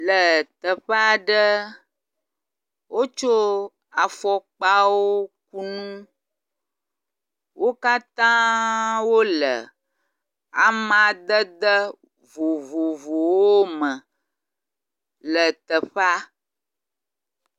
Le teƒe aɖe, wotso afɔkpawo ku nu. Wo katã wole amadede vovovowo me.